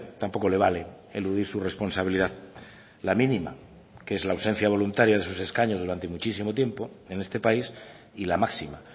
tampoco le vale eludir su responsabilidad la mínima que es la ausencia voluntaria de sus escaños durante muchísimo tiempo en este país y la máxima